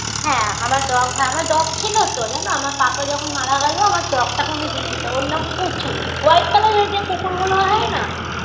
হ্যাঁ আমার dog হ্যাঁ আমার dog ছিলো তো জানো আমার papa যখন মারা গেলো আমার dog -টাকে অমনি দিয়ে দিতে ওর নাম পুচু white colour -এর যে কুকুর গুলো হয় না